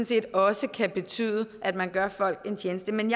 set også kan betyde at man gør folk en tjeneste men